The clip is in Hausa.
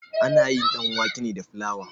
Ana yin ɗanwake ne da filawa.